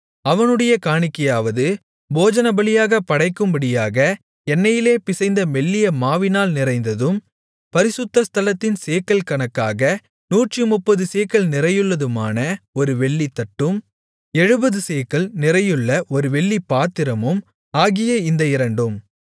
அவனுடைய காணிக்கையாவது போஜனபலியாகப் படைக்கும்படியாக எண்ணெயிலே பிசைந்த மெல்லிய மாவினால் நிறைந்ததும் பரிசுத்த ஸ்தலத்தின் சேக்கல் கணக்காக நூற்றுமுப்பது சேக்கல் நிறையுள்ளதுமான ஒரு வெள்ளித்தட்டும் எழுபது சேக்கல் நிறையுள்ள ஒரு வெள்ளிப்பாத்திரமும் ஆகிய இந்த இரண்டும்